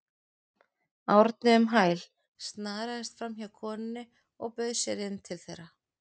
Árni um hæl, snaraðist framhjá konunni og bauð sér inn til þeirra.